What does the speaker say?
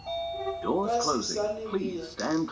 ka se sa le bea